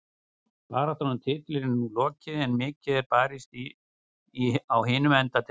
Baráttan um titilinn er nú lokið en mikið er barist á hinum enda deildarinnar.